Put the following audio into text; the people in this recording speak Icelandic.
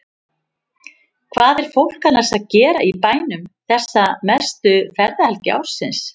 Hvað er fólk annars að gera í bænum þessa mestu ferðahelgi ársins?